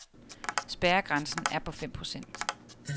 Spærregrænsen er på fem procent.